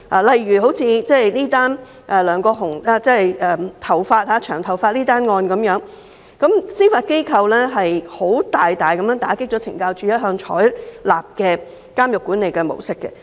例如梁國雄這宗關於保留長頭髮的案件，司法機構大大打擊了懲教署一向採用的監獄管理模式......